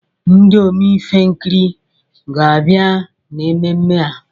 Ndị Omenkiri ga-abịa na mmemme a